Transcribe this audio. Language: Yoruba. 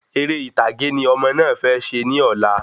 Eré ìtàgé ni ọmọ náà fẹ ṣe ní ọ̀la